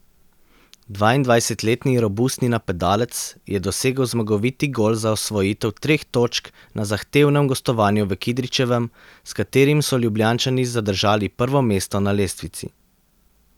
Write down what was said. Dvaindvajsetletni robustni napadalec je dosegel zmagoviti gol za osvojitev treh točk na zahtevnem gostovanju v Kidričevem, s katerimi so Ljubljančani zadržali prvo mesto na lestvici.